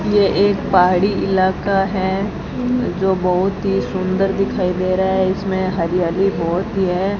ये एक पहाड़ी इलाका है जो बहोत ही सुंदर दिखाई दे रहा है इसमें हरियाली बहोत ही है।